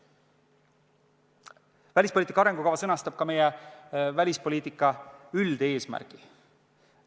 Välispoliitika arengukava sõnastab ka meie välispoliitika üldeesmärgid.